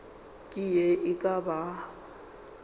ke ye e ka bago